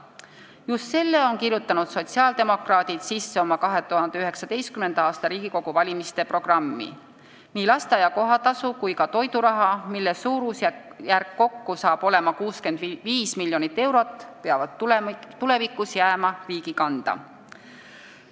Just selle on kirjutanud sotsiaaldemokraadid sisse oma 2019. aasta Riigikogu valimiste programmi: nii lasteaia kohatasu kui ka toiduraha, mille suurusjärk kokku saab olema 65 miljonit eurot, peavad tulevikus jääma riigi kanda.